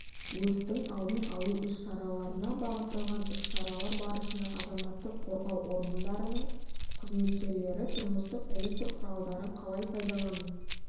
өрттің алдын алу іс-шараларына бағытталған іс-шаралар барысында азаматтық қорғау органдарының қызметкерлері тұрмыстық электр құралдарын қалай пайдалану